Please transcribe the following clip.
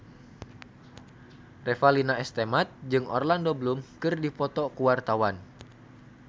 Revalina S. Temat jeung Orlando Bloom keur dipoto ku wartawan